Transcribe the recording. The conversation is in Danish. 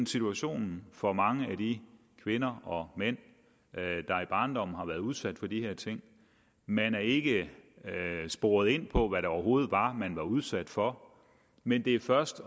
situationen for mange af de kvinder og mænd der i barndommen har været udsat for de her ting man er ikke sporet ind på hvad det overhovedet var man var udsat for men det er først